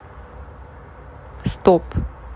стоп